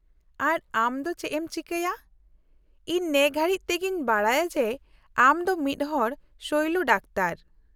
-ᱟᱨ ᱟᱢ ᱫᱚ ᱪᱮᱫ ᱮᱢ ᱪᱤᱠᱟᱹᱭᱟ, ᱤᱧ ᱱᱮᱼᱜᱷᱟᱹᱲᱤᱪ ᱛᱮᱜᱤᱧ ᱵᱟᱰᱟᱭᱟ ᱡᱮ ᱟᱢ ᱫᱚ ᱢᱤᱫᱦᱚᱲ ᱥᱚᱭᱞᱚ ᱰᱟᱠᱛᱚᱨ ᱾